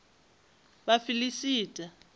vhafiḽista